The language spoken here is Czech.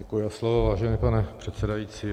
Děkuji za slovo, vážený pane předsedající.